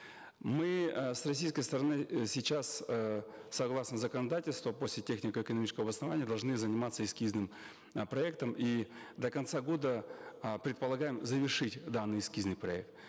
мы э с российской стороны э сейчас эээ согласно законодательства после технико экономического обоснования должны заниматься эскизным э проектом и до конца года э предполагаем завершить данный эскизный проект